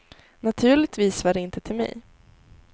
Naturligtvis var det inte till mig.